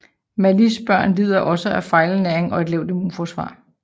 Malis børn lider også af fejlernæring og en lavt immunforsvar